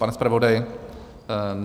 Pane zpravodaji?